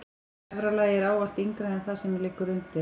Efra lagið er ávallt yngra en það sem undir liggur.